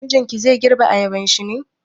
Mijinki zai girbe ayabanshi ne?